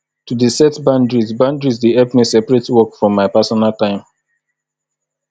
to dey set boundaries boundaries dey help me separate work from my personal time